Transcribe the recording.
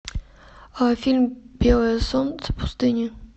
фильм белое солнце пустыни